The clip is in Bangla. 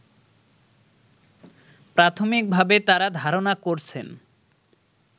প্রাথমিকভাবে তারা ধারণা করছেন